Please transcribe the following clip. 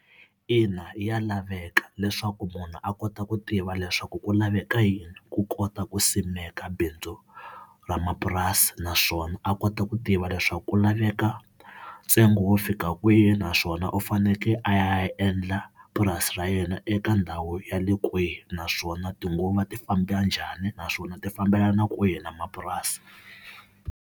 Ina, ya laveka leswaku munhu a kota ku tiva leswaku ku laveka yini ku kota ku simeka bindzu ra mapurasi, naswona a kota ku tiva leswaku ku laveka ntsengo wo fika kwihi naswona u fanekele a ya endla purasi ra yena eka ndhawu ya le kwihi, naswona tinguva ti famba njhani naswona ti fambelana kwihi na mapurasi.